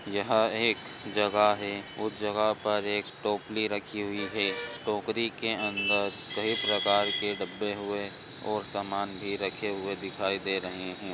यहा एक जगह है उस जगह पर एक टोकरी रखी हुई है टोकरी के अंदर कही प्रकार के डब्बे हुए और समान भी रखे हुए दिखाई दे रहे है।